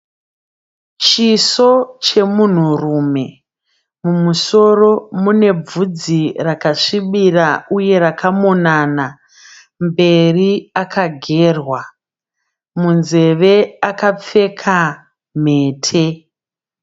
Chiso chemunhurume mumusoro mune bvudzi rakasvibira uye rakamonana mberi akagerwa munzeve akapfeka mhete.